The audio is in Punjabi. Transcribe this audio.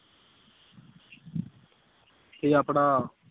ਤੇ ਆਪਣਾ